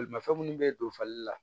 Bolimafɛn minnu bɛ don fali la